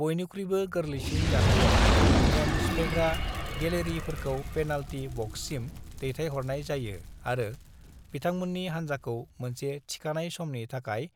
"बयनिख्रुयबो गोरलैसिन जाथायाव, नेम सिफायग्रा गेलेगिरिखौ पेनाल्टी बक्ससिम दैथायहरनाय जायो आरो बिथांमोन्नि हान्जाखौ मोनसे थिखानाय समनि थाखाय